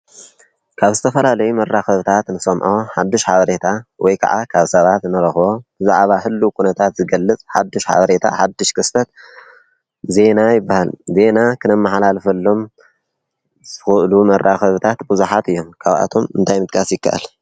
ካብ ዝተፈላለዩ መራኸብታት ንሰምዖ ሓዱሽ ሓበሬታ ወይ ከዓ ካብ ሰባት ንረኽቦ ብዛዕባ ህልው ኩነታት ዝገልፅ ሓዱሽ ሓበሬታ፣ ሓዱሽ ክስተት ዜና ይበሃል፡፡ ዜና ክነመሓላልፈሎም ዝኽእሉ መራኸብታት ብዙሓት እዮም፡፡ ካብኣቶም እንታይ ምጥቃስ ይከኣል?